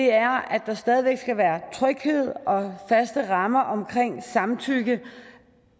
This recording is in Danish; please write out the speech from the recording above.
er at der stadig væk skal være tryghed og faste rammer omkring samtykke